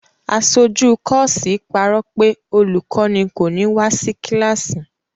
Aṣojú kọ́ọ́sì parọ́ pé olùkọ́ní kò ní wá sí kíláàsì.